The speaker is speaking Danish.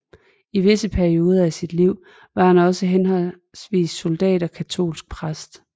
I visse perioder af sit liv var han også henholdsvis soldat og katolsk præst